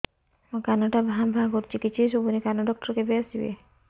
ମୋ କାନ ଟା ଭାଁ ଭାଁ କରୁଛି କିଛି ଶୁଭୁନି କାନ ଡକ୍ଟର କେବେ ଆସିବେ